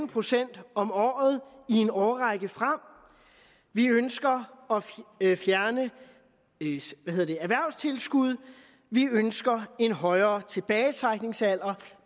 procent om året i en årrække frem vi ønsker at fjerne erhvervstilskud og vi ønsker en højere tilbagetrækningsalder